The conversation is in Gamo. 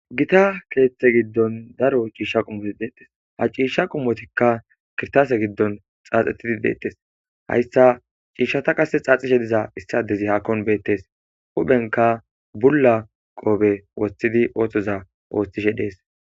gita keeththe giddon daro ciishsha qumoti deettes ha ciishsha qumotikka kirtase giddon xaaxetidi deettes hayssa ciishshata qase xaaxishe diza issa dezi haakon beettes huphenka bulla qoobe woththidi ooththoza ooththishe dees